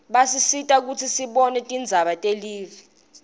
basisita kutsi sibone tindzaba telive